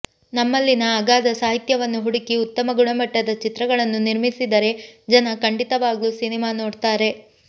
ನಮ್ಮಲ್ಲಿನ ಅಗಾಧ ಸಾಹಿತ್ಯವನ್ನು ಹುಡುಕಿ ಉತ್ತಮ ಗುಣಮಟ್ಟದ ಚಿತ್ರಗಳನ್ನು ನಿರ್ಮಿಸಿದರೆ ಜನ ಖಂಡಿತವಾಗ್ಲೂ ಸಿನಿಮಾ ನೋಡ್ತಾರೆ